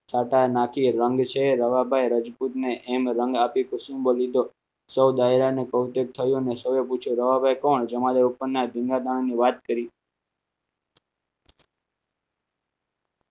ટાટા નાખી રંગ છે રવાભાઈ રાજપુતને એમ રંગ આપી કે શું બોલી તો સૌ ડાયરાને કૌશિક થયું અને સૌએ પૂછ્યું રવાભાઈ કોણ જમાડે ઉપરના દાણા ની વાત કરી